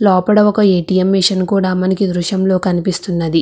లోపల ఒక ATM. Machine కూడా మనకు ఈ దృశ్యంలో కనిపిస్తూ ఉన్నది.